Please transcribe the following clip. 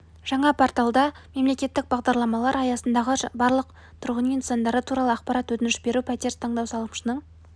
жаңа порталда мемлекеттік бағдарламалар аясындағы барлық тұрғын үй нысандары туралы ақпарат өтініш беру пәтер таңдау салымшының